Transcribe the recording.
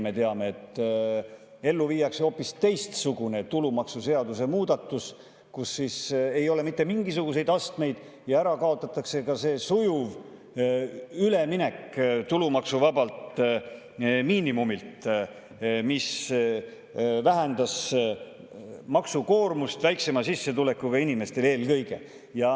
Me teame, et ellu viiakse hoopis teistsugune tulumaksuseaduse muudatus, kus ei ole mitte mingisuguseid astmeid, ja ära kaotatakse ka sujuv üleminek tulumaksuvabalt miinimumilt, mis vähendas maksukoormust eelkõige väiksema sissetulekuga inimestel.